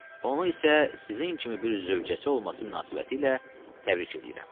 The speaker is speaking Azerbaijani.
Onu isə sizin kimi bir zövcəsi olması münasibətilə təbrik eləyirəm.